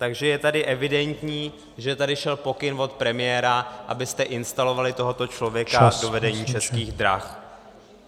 Takže je tady evidentní, že tady šel pokyn od premiéra, abyste instalovali tohoto člověka do vedení Českých drah.